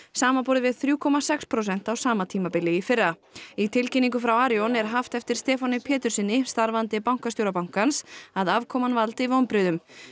samanborið við þrjú komma sex prósent á sama tímabili í fyrra í tilkynningu frá Arion er haft eftir Stefáni Péturssyni starfandi bankastjóra bankans að afkoman valdi vonbrigðum